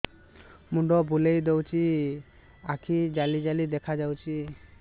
ମୁଣ୍ଡ ବୁଲେଇ ଦଉଚି ଆଖି ଜାଲି ଜାଲି ଦେଖା ଯାଉଚି